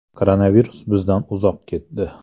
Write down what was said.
Koronavirus bizdan uzoq ketdi.